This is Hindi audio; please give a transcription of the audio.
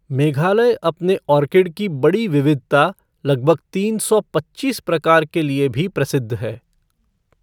मेघालय अपने ऑर्किड की बड़ी विविधता, लगभग तीन सौ पच्चीस प्रकार के लिए भी प्रसिद्ध है।